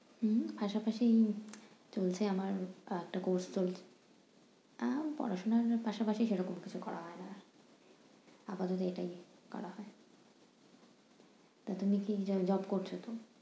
হুম পাশাপাশি চলছে আমার একটা course তো। না পড়াশুনার পাশাপাশি সেরকম কিছু করা হয় না। আপাতত এটাই করা হয়। তা তুমি কি jo~ job করছো তো?